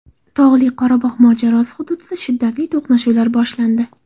Tog‘li Qorabog‘ mojarosi hududida shiddatli to‘qnashuvlar boshlandi.